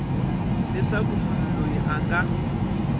leswaku munhu loyi a nga